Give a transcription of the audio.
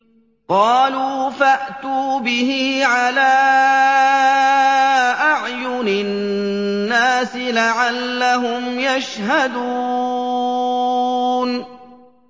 قَالُوا فَأْتُوا بِهِ عَلَىٰ أَعْيُنِ النَّاسِ لَعَلَّهُمْ يَشْهَدُونَ